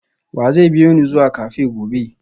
wa zai biyo ni zuwa cafe gobe?